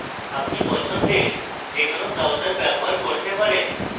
আপনি পছন্দের web browser ব্যবহার করতে পারেন